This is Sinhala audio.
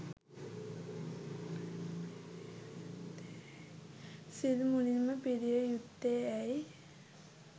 සිල් මුලින්ම පිරිය යුත්තේ ඇයි?